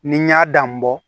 Ni n y'a dan bɔ